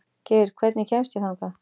Geir, hvernig kemst ég þangað?